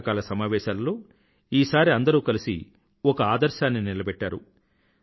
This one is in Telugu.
వర్షాకల సమావేశాలలో ఈసారి అందరూ కలిసి ఒక ఆదర్శాన్ని నిలబెట్టారు